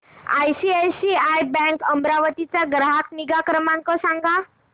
ICICI bank Amravati चा ग्राहक निगा क्रमांक सांगा